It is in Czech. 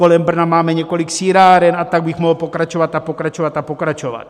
Kolem Brna máme několik sýráren a tak bych mohl pokračovat a pokračovat a pokračovat.